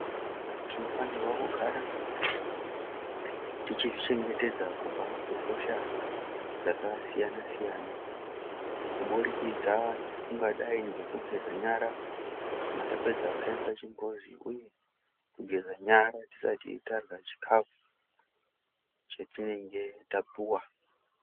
Vantu tinofana kugara tichizvichengetedza kubva kuhosha dzakasiyana siyana kuburikidza kungadai nekugeza nyara kana tapedza kushandisa chimbuzi uye kugeza nyara tisati tadya chikafu chatinenge tapuwa .